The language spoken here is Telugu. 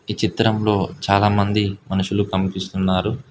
ఈ చిత్రంలో చాలామంది మనుషులు కనిపిస్తున్నారు.